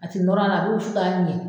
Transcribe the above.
A tɛ nɔr'a la a bɛ wusu ka ɲɛ